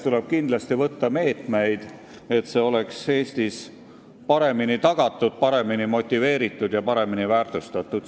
Tuleb kindlasti võtta meetmeid, et vanemaealiste tööhõive oleks Eestis paremini tagatud, et nad oleksid paremini motiveeritud ning nende töö paremini väärtustatud.